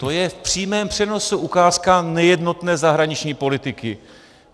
- To je v přímém přenosu ukázka nejednotné zahraniční politiky.